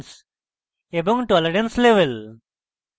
tolerance level